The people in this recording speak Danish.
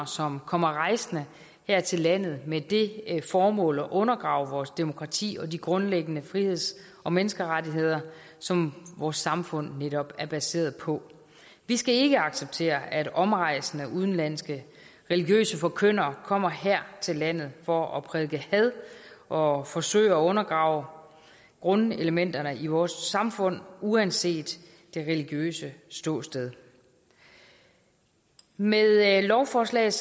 som kommer rejsende her til landet med det formål at undergrave vores demokrati og de grundlæggende friheds og menneskerettigheder som vores samfund netop er baseret på vi skal ikke acceptere at omrejsende udenlandske religiøse forkyndere kommer her til landet for at prædike had og forsøge at undergrave grundelementerne i vores samfund uanset det religiøse ståsted med lovforslaget